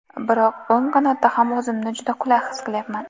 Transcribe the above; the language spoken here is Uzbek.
Biroq o‘ng qanotda ham o‘zimni juda qulay his qilyapman.